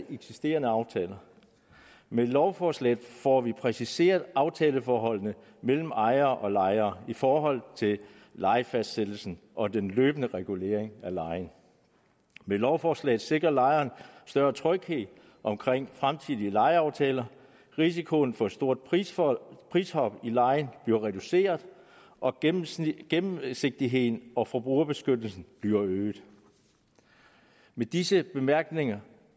eksisterende aftaler med lovforslaget får vi præciseret aftaleforholdene mellem ejere og lejere i forhold til lejefastsættelsen og den løbende regulering af lejen med lovforslaget sikres lejeren større tryghed omkring fremtidige lejeaftaler risikoen for et stort prishop prishop i lejen bliver reduceret og gennemsigtigheden gennemsigtigheden og forbrugerbeskyttelsen bliver øget med disse bemærkninger